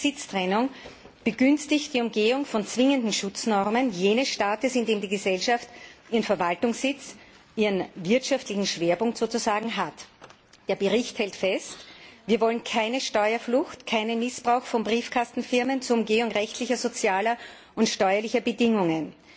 Eine Sitztrennung begünstigt die Umgehung von zwingenden Schutznormen jenes Staates, in dem die Gesellschaft ihren Verwaltungssitz, sozusagen ihren wirtschaftlichen Schwerpunkt hat. Der Bericht hält fest, wir wollen keine Steuerflucht, keinen Missbrauch von Briefkastenfirmen zur Umgehung rechtlicher, sozialer und steuerlicher Bedingungen.